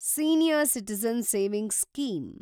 senior citizen savings scheme